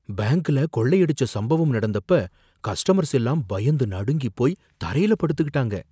பேங்க்ல கொள்ளையடிச்ச சம்பவம் நடந்தப்ப கஸ்ட்டமர்ஸ் எல்லாம் பயந்து நடுங்கிப்போய் தரையில படுத்துக்கிட்டாங்க.